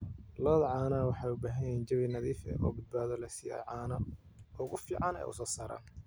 Lo'da caanaha waxay u baahan yihiin jawi nadiif ah oo badbaado leh si ay caanaha ugu fiican u soo saaraan.